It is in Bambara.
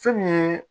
Fɛn min ye